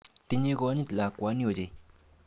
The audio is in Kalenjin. Tinye konyit lakwani ochei.